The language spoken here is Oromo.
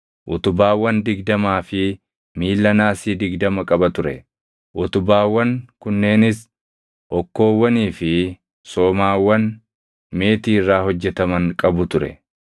utubaawwan digdamaa fi miilla naasii digdama qaba ture; utubaawwan kunneenis hokkoowwanii fi somaawwan meetii irraa hojjetaman qabu ture.